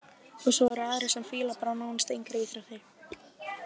Og svo eru aðrir sem fíla bara nánast engar íþróttir.